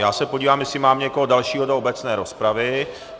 Já se podívám, jestli mám někoho dalšího do obecné rozpravy.